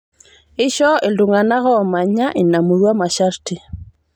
Eishoo ltung'ana omaanya inamurua masharti